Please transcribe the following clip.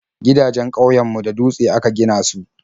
Gidajen ƙauyen mu da dutse aka gina su